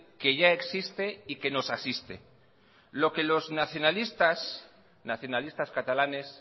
que ya existe y que nos asiste lo que los nacionalistas nacionalistas catalanes